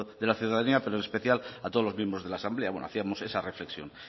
de la ciudadanía pero en especial a todos los miembros de la asamblea bueno hacíamos esa reflexión